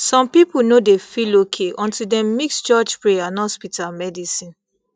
some people no dey feel okay until dem mix church pray and hospital medicine